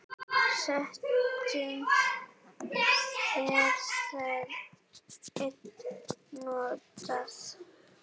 Stundum er það enn notað.